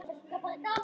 Elsku Bjössi